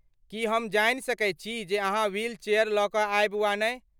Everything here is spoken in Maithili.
की हम जानि सकैत छी जे अहाँ व्हीलचेयर लऽ कऽ आयब वा नहि?